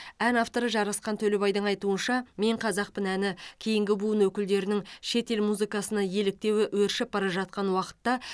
ән авторы жарасқан төлебайдың айтуынша мен қазақпын әні кейінгі буын өкілдерінің шетел музыкасына еліктеуі өршіп бара жатқан уақытта